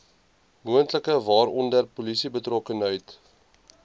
moontlik waaronder polisiebetrokkenheid